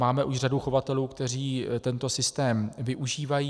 Máme už řadu chovatelů, kteří tento systém využívají.